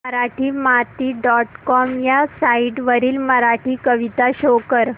Marathimati dot com ह्या site वरील मराठी कविता शो कर